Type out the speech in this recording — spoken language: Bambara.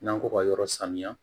N'an ko ka yɔrɔ sanuya